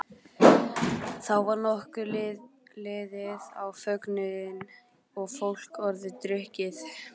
Þá var nokkuð liðið á fögnuðinn og fólk orðið drukkið.